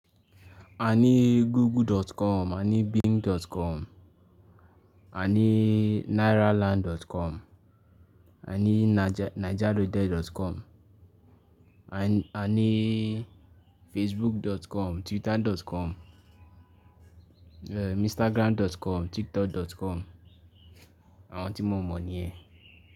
A ní Google.com, a ní Bing.com, a ní Nairaland.com, a ní Naijaloaded.com, a ní Facebook.com, Twitter.com, Instagram.com, Tiktok.com. Àwọn tí mo mọ̀ ni ẹ.